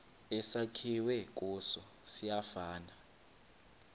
esakhiwe kuso siyafana